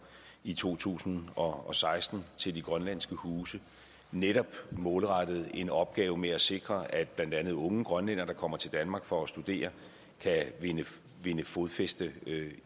i to tusind og seksten til de grønlandske huse netop målrettet en opgave med at sikre at blandt andet unge grønlændere der kommer til danmark for at studere kan vinde vinde fodfæste